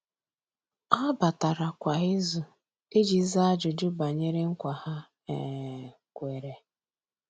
Há batara kwa ìzù iji zàá ájụ́jụ́ banyere nkwa ha um kwèrè.